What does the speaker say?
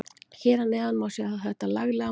Hér að neðan má sjá þetta laglega mark.